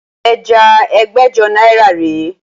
Ẹja ẹgbẹ́jọ náírà rè é